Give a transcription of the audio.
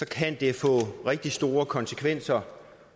kan det få rigtig store konsekvenser